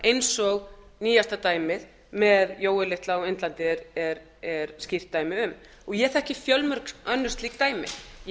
eins og nýjasta dæmið með jóel litla á indlandi er skýrt dæmi um ég þekki fjölmörg önnur slík dæmi ég